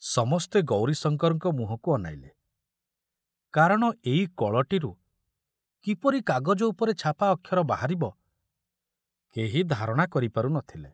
ସମସ୍ତେ ଗୌରୀଶଙ୍କରଙ୍କ ମୁହଁକୁ ଅନାଇଲେ, କାରଣ ଏଇ କଳଟିରୁ କିପରି କାଗଜ ଉପରେ ଛାପା ଅକ୍ଷର ବାହାରିବ କେହି ଧାରଣା କରି ପାରୁ ନଥିଲେ।